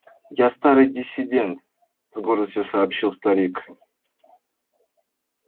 я старый диссидент с гордостью сообщил старик